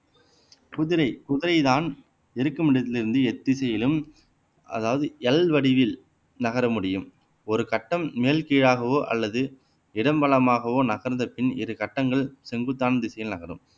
குதிரை குதிரைதான் இருக்கும் இடத்திலிருந்து எத்திசையிலும் அதாவது எல் வடிவில் நகர முடியும் ஒரு கட்டம் மேல் கீழாகவோ அல்லது இடம் வலமாகவோ நகர்ந்த பின் இரு கட்டங்கள் செங்குத்தான திசையில் நகரும்